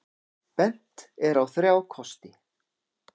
Bent er á þrjá kosti.